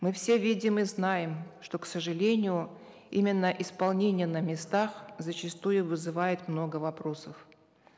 мы все видим и знаем что к сожалению именно исполнение на местах зачастую вызывает много вопросов